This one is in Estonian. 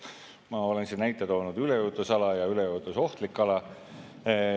Ma olen siin näite toonud: üleujutusala ja üleujutusohtlik ala.